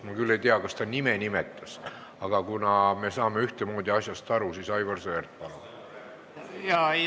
Ma küll ei tea, kas Sester ta nime nimetas, aga kuna me saame ühtemoodi asjast aru, siis, Aivar Sõerd, palun!